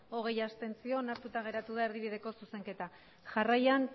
hogei abstentzio onartuta geratu da erdibideko zuzenketa jarraian